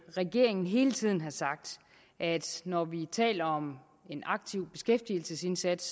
regeringen hele tiden har sagt at når vi taler om en aktiv beskæftigelsesindsats